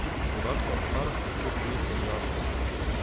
Podatka o starosti otrok še niso objavili.